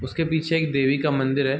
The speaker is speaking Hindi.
उसके पीछे एक देवी का मंदिर है।